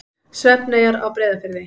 Svefneyjar á Breiðafirði.